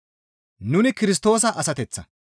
Nuni Kirstoosa asateththa.